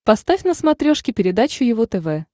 поставь на смотрешке передачу его тв